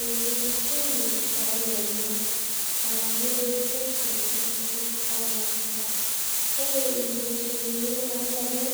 Enkitesheni oolomon, aa radio station tenkutuk oo lashumba Ore inkiteshenini oolomon,